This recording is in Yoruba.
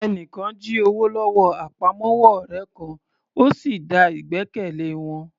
Ẹni kan jí owó lọ́wọ́ àpamọ́wọ́ ọ̀rẹ́ kan, ó sì da ìgbẹ́kẹ̀lé wọn